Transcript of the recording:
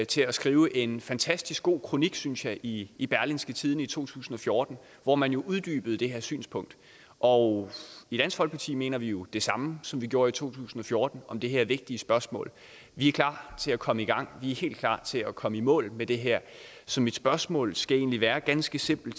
til at skrive en fantastisk god kronik synes jeg i i berlingske tidende i to tusind og fjorten hvor man uddybede det her synspunkt og i dansk folkeparti mener vi det samme som vi gjorde i to tusind og fjorten om det her vigtige spørgsmål vi er klar til at komme i gang vi er helt klar til at komme i mål med det her så mit spørgsmål skal egentlig være ganske simpelt